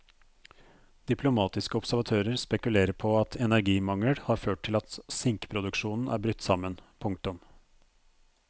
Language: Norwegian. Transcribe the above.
Diplomatiske observatører spekulerer på at energimangel har ført til at sinkproduksjonen er brutt sammen. punktum